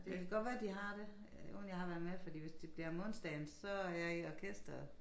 Ja det kan godt være de har det øh uden jeg har været med fordi hvis det bliver om onsdagen så er jeg i orkestret